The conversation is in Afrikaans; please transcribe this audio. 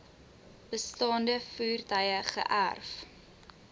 bestaande voertuie geërf